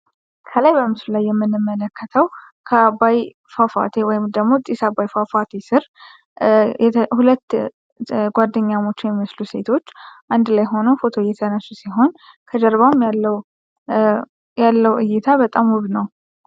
ከላይ በምስሉ ላይ የምንመለከተው ከአባይ ፏፏቴ ወይም ደግሞ ጭስ አባይ ፏፏቴ ስር ሁለት ጓደኛሞች የሚመስሉ ሴቶች አንድ ላይ ሁነው ፎቶ እየተነሱ ሲሆን ከጀርባም ያለው እይታ በጣም ውብ ነው።